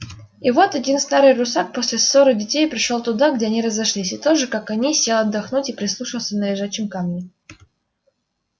и вот один старый русак после ссоры детей пришёл туда где они разошлись и тоже как они сел отдохнуть и прислушаться на лежачем камне